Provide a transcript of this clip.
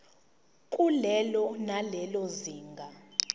kulelo nalelo zinga